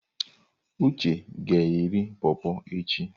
Uche ga-eri pọrpọr echi.